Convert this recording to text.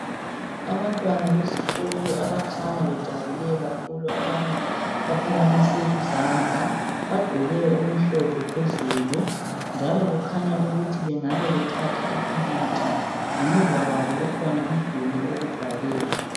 Abantwana besikolo abakhanya bejabule kakhulu, abanye baphakamise izandla. Bagqoke okumhlophe phezulu. Njalo kukhanya ukuthi bengabe bethatha ipikitsha. Ngemuva kwabo kukhona umduli wokubhalela.